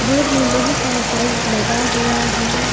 Road में बहुत सारा टाइल्स लगा हुआ है।